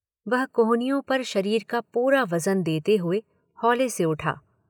वह कोहनियों पर शरीर का पूरा वज़न देते हुए हौले से उठा।